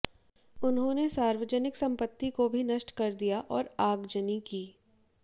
उन्होंने सार्वजनिक संपत्ति को भी नष्ट कर दिया और आगजनी की